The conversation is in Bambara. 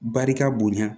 Barika bonya